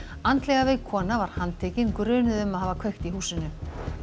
andlega veik kona var handtekin grunuð um að hafa kveikt í húsinu